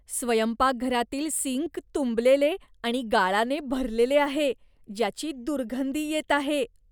स्वयंपाकघरातील सिंक तुंबलेले आणि गाळाने भरलेले आहे, ज्याची दुर्गंधी येत आहे.